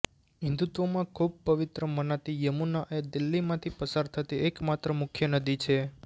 હિન્દુત્વમાં ખૂબ પવિત્ર મનાતી યમુના એ દિલ્હીમાંથી પસાર થતી એક માત્ર મુખ્ય નદી છે